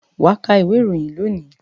Wà ka ìwé-ìròyìn lónìí!